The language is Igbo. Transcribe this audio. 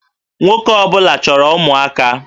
Nwoke ọ bụla chọrọ ụmụaka